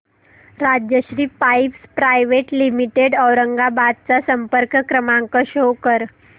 Rajshri Pipes Private Limited Aurangabad चा संपर्क क्रमांक शो कर